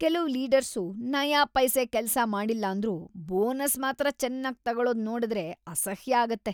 ಕೆಲ್ವು ಲೀಡರ್ಸು ನಯಾಪೈಸೆ ಕೆಲ್ಸ ಮಾಡಿಲ್ಲಾಂದ್ರೂ ಬೋನಸ್ ಮಾತ್ರ ಚೆನ್ನಾಗ್ ತಗೊಳದ್ ನೋಡುದ್ರೆ ಅಸಹ್ಯ ಆಗುತ್ತೆ.